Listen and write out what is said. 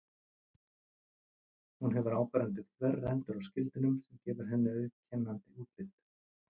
Hún hefur áberandi þverrendur á skildinum sem gefur henni auðkennandi útlit.